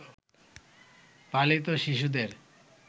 পালিত শিশুদের